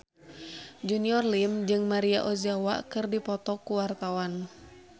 Junior Liem jeung Maria Ozawa keur dipoto ku wartawan